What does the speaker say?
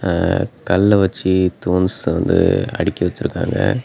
அ கல்ல வச்சி தூண்ஸ் வந்து அடுக்கி வச்சிருக்காங்க.